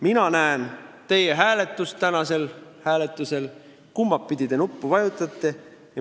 Mina näen tänasel hääletusel, kumba nuppu te vajutate.